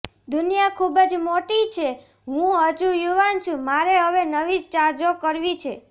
દુનિયા ખુબજ મોટી છે હું હજુ યુવાન છુ મારે હવે નવી ચાજો કરવી છે